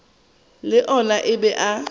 le ona a be a